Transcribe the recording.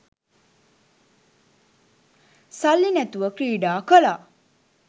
සල්ලි නැතුව ක්‍රීඩා කළා